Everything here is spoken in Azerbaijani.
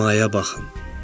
Səmaya baxın.